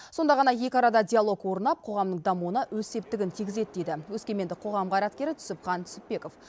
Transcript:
сонда ғана екі арада диалог орнап қоғамның дамуына өз септігін тигізеді дейді өскемендік қоғам қайраткері түсіпхан түсіпбеков